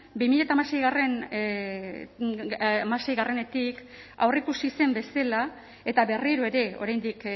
bi mila hamaseietik aurreikusi zen bezala eta berriro ere oraindik